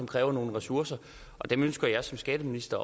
kræver nogle ressourcer dem ønsker jeg som skatteminister